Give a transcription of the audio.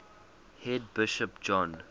head bishop john